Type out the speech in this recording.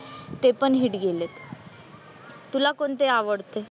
ते पण हिट गेलेत, तुला कोणते आवडते?